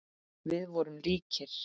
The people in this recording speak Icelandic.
Við vorum líkir.